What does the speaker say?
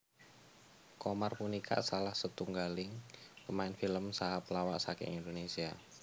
Qomar punika salah setunggaling pemain film saha pelawak saking Indonésia